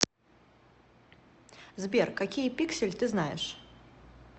сбер какие пиксель ты знаешь